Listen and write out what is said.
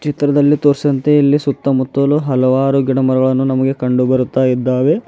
ಚಿತ್ರದಲ್ಲಿ ತೋರಿಸಿದಂತೆ ಇಲ್ಲಿ ಸುತ್ತಮುತ್ತಲು ಹಲವಾರು ಗಿಡಮರಗಳನ್ನು ನಮಗೆ ಕಂಡು ಬರುತ್ತಾ ಇದ್ದಾವೆ.